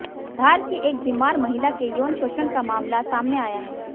धार की एक बीमार महिला के यौन शोषण का मामला सामने आया है